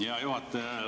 Hea juhataja!